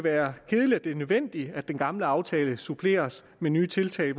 er kedeligt at det er nødvendigt at den gamle aftale suppleres med nye tiltag i